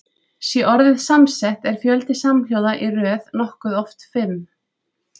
Sé orðið samsett er fjöldi samhljóða í röð nokkuð oft fimm.